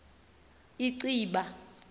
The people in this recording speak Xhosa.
inciba